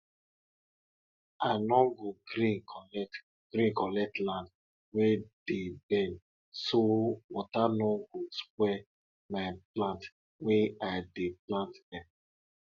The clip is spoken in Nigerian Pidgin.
dem talk sey de wind dey carry de voices of people wey don die across dey farmland every harmattan farmland every harmattan season